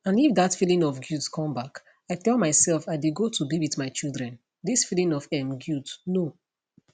and if dat feeling of guilt come back i tell myself i dey go to be wit my children dis feeling of um guilt no